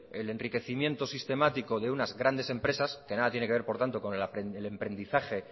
el enriquecimiento sistemático de unas grandes empresas que nada tiene que ver por tanto con el emprendizaje